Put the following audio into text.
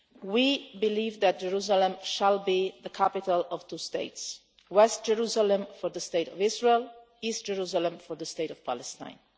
We believe that Jerusalem shall be the capital of two states West Jerusalem for the state of Israel and East Jerusalem for the state of Palestine.